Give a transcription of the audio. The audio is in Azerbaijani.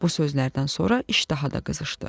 Bu sözlərdən sonra iş daha da qızışdı.